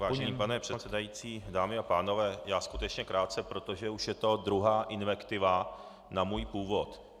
Vážený pane předsedající, dámy a pánové, já skutečně krátce, protože už je to druhá invektiva na můj původ.